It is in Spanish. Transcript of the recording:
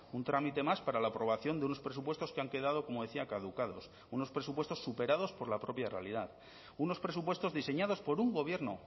un trámite más para la aprobación de unos presupuestos que han quedado como decía caducados unos presupuestos superados por la propia realidad unos presupuestos diseñados por un gobierno